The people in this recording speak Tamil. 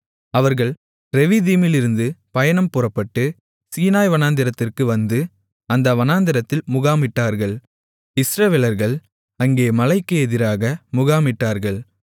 அவர்கள் ரெவிதீமிலிருந்து பயணம் புறப்பட்டு சீனாய் வனாந்திரத்திற்கு வந்து அந்த வனாந்திரத்தில் முகாமிட்டார்கள் இஸ்ரவேலர்கள் அங்கே மலைக்கு எதிராக முகாமிட்டார்கள்